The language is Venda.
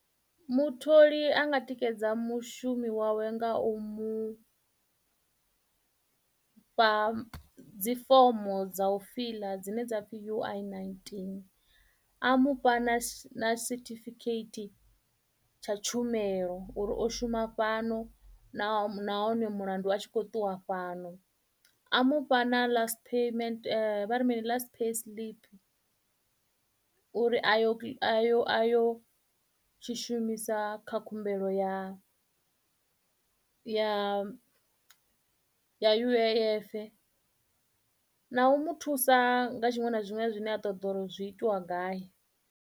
Mutholi a nga tikedza mushumi wawe nga u mu fha dzifomo dza u fiḽa dzine dza pfhi U_I nineteen a mufha na certificate tsha tshumelo uri o shuma fhano na hone mulandu a tshi kho ṱuwa fhano a mufha na last pay slip uri ayo ayo ayo tshishumisa kha khumbelo ya ya ya U_I_F na u mu thusa nga zwiṅwe na zwiṅwe zwine a ṱoḓa uri zwi itiwa gai.